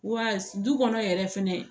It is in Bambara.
Wa du kɔnɔ yɛrɛ fɛnɛ